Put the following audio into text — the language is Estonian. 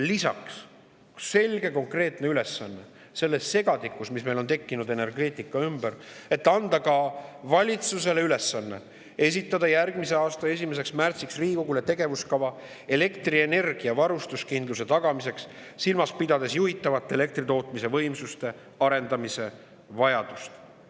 Lisaks on selge konkreetne ülesanne selles segadikus, mis meil on tekkinud energeetika ümber: valitsus järgmise aasta 1. märtsiks Riigikogule esitama tegevuskava elektrienergia varustuskindluse tagamiseks, silmas pidades juhitavate elektrivõimsuste arendamise vajadust.